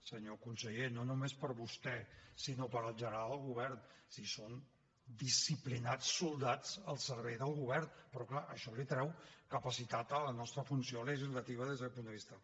senyor conseller no només per vostè sinó per en general el govern si són disciplinats soldats al servei del govern però clar això li treu capacitat a la nostra funció legislativa des d’aquest punt de vista